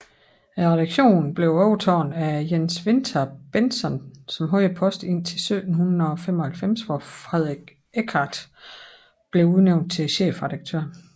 Redaktionen overtoges af Jens Winther Bentzon som havde posten indtil 1795 hvor Frederik Ekkard blev udnævnt til chefredaktør